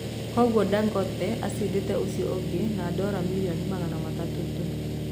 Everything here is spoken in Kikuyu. Koguo Dangote acindete ucio ũngi na dola milioni magana matatũ tu.